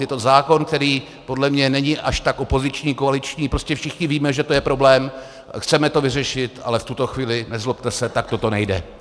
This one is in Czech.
Je to zákon, který podle mě není až tak opoziční, koaliční, prostě všichni víme, že to je problém, chceme to vyřešit, ale v tuto chvíli, nezlobte se, takto to nejde.